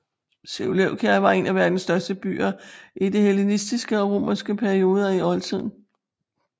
Seleukeia var en af verdens største byer i de hellenistiske og romerske perioder i oldtiden